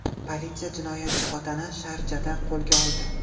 Politsiya jinoyatchi otani Sharjada qo‘lga oldi.